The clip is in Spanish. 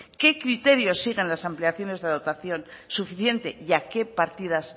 qué criterios siguen las ampliaciones de dotación suficiente y a qué partidas